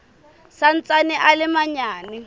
sa ntsaneng a le manyane